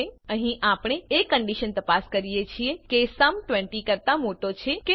અહીં આપણે એ કંડીશન તપાસ કરીએ છીએ કે સુમ 20 કરતાં મોટો છે કે નહી